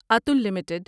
Atul limited